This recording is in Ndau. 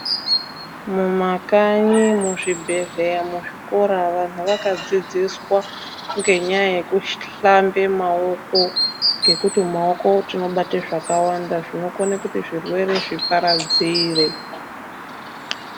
Mumakanyi muzvibhedhleya muzvikoro vantu akadzidziswa ngenyaaya yekuhlambe maoko ngekuti mumaoko tinobate zvakawanda zvinokone kuti zvirwere zviparadzire.